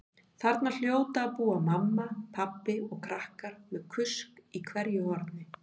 Þarna hljóta að búa mamma, pabbi og krakkar með kusk í hverju horni.